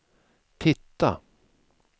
titta